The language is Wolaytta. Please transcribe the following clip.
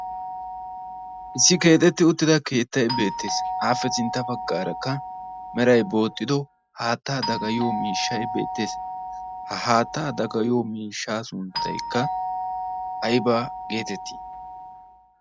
issi keexetti uttida keettay beettees aappe sintta baggaarakka meray booxxido haattaa dagayiyo miishshay beettees ha haattaa dagayiyo miishshaa sunttaykka ayba geetettii